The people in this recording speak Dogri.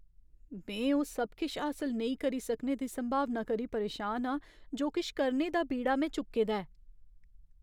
में ओह् सब किश हासल नेईं करी सकने दी संभावना करी परेशान आं जो किश करने दा बीड़ा में चुक्के दा ऐ।